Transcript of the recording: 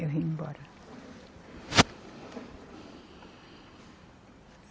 Eu vim embora.